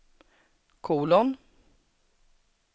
kolon